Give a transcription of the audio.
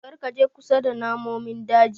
Karka je kusa da namomin daji.